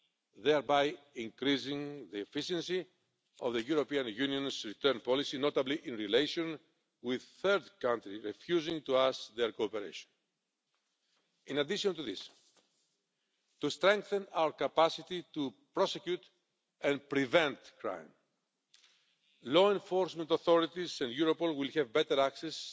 This will increase the efficiency of the European Union returns policy, notably in relation to third countries refusing to give us their cooperation. In addition to this, to strengthen our capacity to prosecute and prevent crime, law enforcement authorities and Europol will have better access